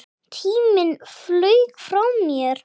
Tíminn flaug frá mér.